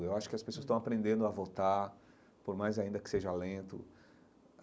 Eu acho que as pessoas estão aprendendo a votar, por mais ainda que seja lento.